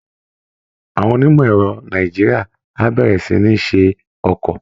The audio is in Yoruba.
Àwọn onímọ̀ ẹ̀rọ Nàìjíríà á bẹ̀rẹ̀ sí ní ṣe ọkọ̀